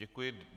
Děkuji.